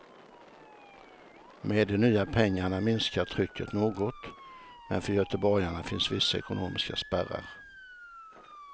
Med de nya pengarna minskar trycket något, men för göteborgarna finns vissa ekonomiska spärrar.